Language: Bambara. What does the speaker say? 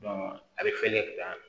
a bɛ falen ka taa